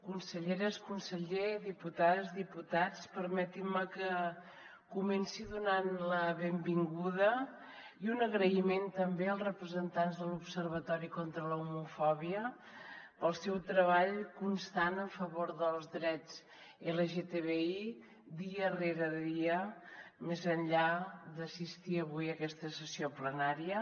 conselleres conseller diputades diputats permetin me que comenci donant la benvinguda i un agraïment també als representants de l’observatori contra l’homofòbia pel seu treball constant en favor dels drets lgtbi dia rere dia més enllà d’assistir avui a aquesta sessió plenària